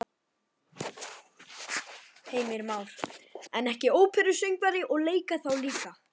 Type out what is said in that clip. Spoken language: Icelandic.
Heimir Már: En ekki óperusöngvari og leika þá líka?